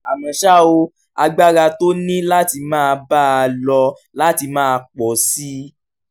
àmọ́ ṣá o agbára tó ní láti máa bá a lọ láti máa pọ̀ sí i